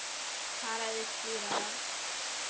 Talaðu skýrar.